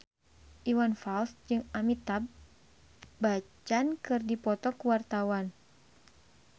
Iwan Fals jeung Amitabh Bachchan keur dipoto ku wartawan